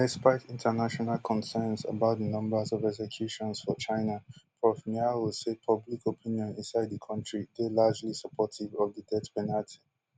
despite international concerns about di numbers of executions for china prof miao say public opinion inside di kontri dey largely supportive of di death penalty